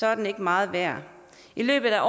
er den ikke meget værd i løbet af